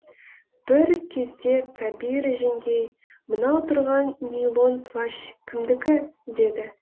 бір кезде кәбира жеңгей мынау тұрған нейлон плащ кімдікі деді